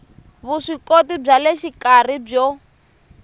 vuswikoti bya le xikarhi byo